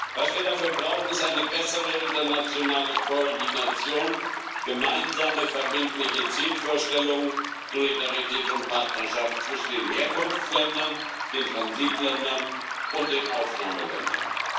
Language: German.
Was wir dafür brauchen, sind eine bessere internationale Koordination, gemeinsame verbindliche Zielvorstellungen, Solidarität und Partnerschaft zwischen den Herkunftsländern, den Transitländern und den Aufnahmeländern.